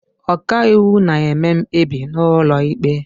ọkàiwu na-eme mkpebi n'ụlọ ikpe